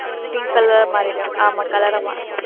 Pink colour மாறிடும். ஆமா colour ஆ மா~